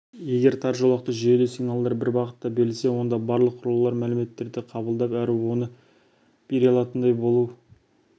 егер тар жолақты жүйеде сигналдар тек бір бағытта берілсе онда барлық құрылғылар мәліметтерді қабылдап әрі оны бере алатындай болу